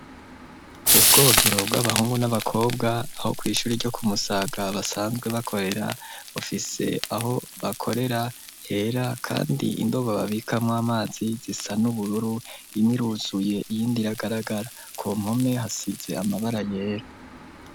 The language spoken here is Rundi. Ubwogero bw'abahungu n'abakobwa aho kuri iry' ishuri ryo kumusaga basanzwe bakorera ofise aho bakorera hera kandi indobo babikamo amazi zisa n'ubururu imiruzuye iy'indiragaragara ku mkome hasize amabara yera.